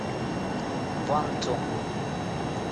ванту